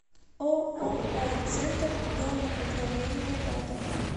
ооо центр домоуправления рядом